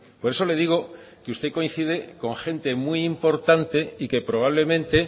por eso le digo que usted coincide con gente muy importante y que probablemente